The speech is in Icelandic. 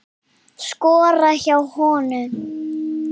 Skora hjá honum??